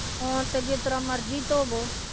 ਹੁਣ ਤਾਂ ਜਿਸ ਤਰ੍ਹਾਂ ਮਰਜ਼ੀ ਧੋਵੋ